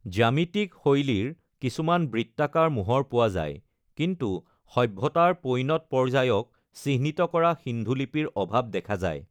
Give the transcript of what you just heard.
জ্যামিতিক শৈলীৰ কিছুমান বৃত্তাকাৰ মোহৰ পোৱা যায়, কিন্তু সভ্যতাৰ পৈণত পৰ্যায়ক চিহ্নিত কৰা সিন্ধু লিপিৰ অভাৱ দেখা যায়।